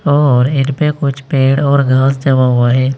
और इनपे कुछ पेड़ और घास जमा हुआ है।